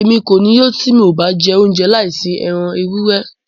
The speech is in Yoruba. Émi ko ni yó ti mo ba jẹ ounjẹ laisi ẹran ewurẹ